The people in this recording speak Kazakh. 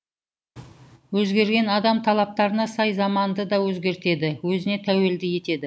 өзгерген адам талаптарына сай заманды да өзгертеді өзіне тәуелді етеді